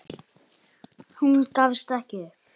En hún gafst ekki upp.